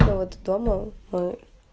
вот дома мы